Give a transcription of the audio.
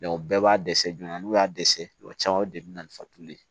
bɛɛ b'a dɛsɛ joona n'u y'a dɛsɛ kuma caman o de bi na ni fatuli ye